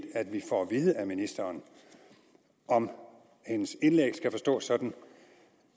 at vi får at vide af ministeren om hendes indlæg skal forstås sådan